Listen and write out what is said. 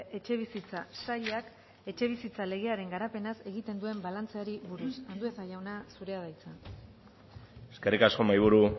etxebizitza sailak etxebizitza legearen garapenaz egiten duen balantzeari buruz andueza jauna zurea da hitza eskerrik asko mahaiburu